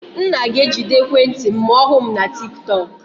Nna ga-ejide ekwentị m ma ọ hụ m na tiktok.